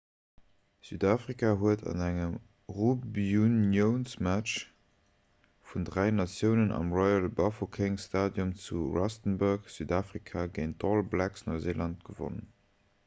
südafrika huet an engem rugbyuniounsmatch vun dräi natiounen am royal bafokeng stadium zu rustenburg südafrika géint d'all blacks neuseeland gewonnen